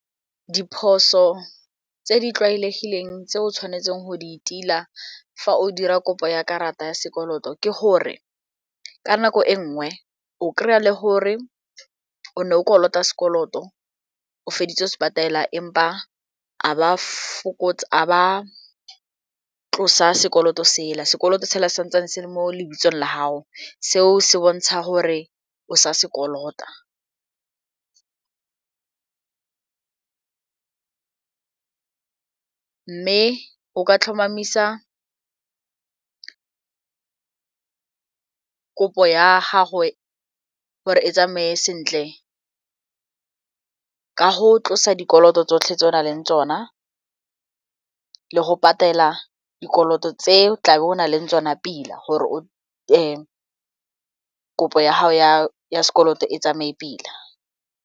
Diphoso tse di tlwaelegileng tse o tshwanetseng go di tila fa o dira kopo ya karata ya sekoloto ke gore ka nako e nngwe o kry-a le gore o ne o kolota sekoloto o feditse o se patala empa a ba fokotse a ba tlosa sekoloto sela sekoloto sela santsane se le mo lebitsong la gago, seo se bontsha gore o sa sekolota mme o ka tlhomamisa ka kopo ya gago gore e tsamaye sentle ka go tlosa dikoloto tsotlhe tse o na leng tsona le go patela dikoloto tse o tlabe o na leng tsona pila gore kopo ya gago ya sekoloto e tsamaye pila.